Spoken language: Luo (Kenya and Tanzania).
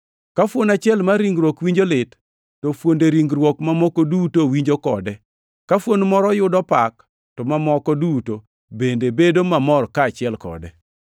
Ka fuon achiel mar ringruok winjo lit, to fuonde ringruok mamoko duto winjo kode; ka fuon moro yudo pak, to mamoko duto bende bedo mamor kaachiel kode.